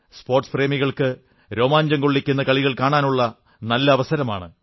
sports പ്രേമികൾക്ക് രോമാഞ്ചം കൊള്ളിക്കുന്ന കളികൾ കാണാനുള്ള നല്ല അവസരമാണ്